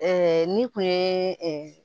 ni kun ye